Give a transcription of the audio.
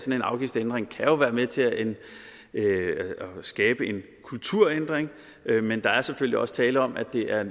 en afgiftsændring kan jo være med til at skabe en kulturændring men der er selvfølgelig også tale om at det er